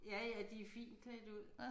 Ja ja de fint klædt ud